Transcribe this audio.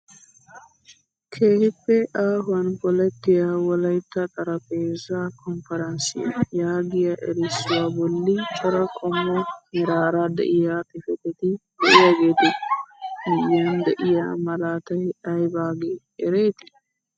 Keehippe aahuwaan polettiyaa wolaytta xaraphphezzaa konporossiyaa yaagiyaa erissuwaa bolli cora qomo meraara de'iyaa xifatetti de'iyaagetu miyiyaan de'iyaa malaatay aybagee eretii?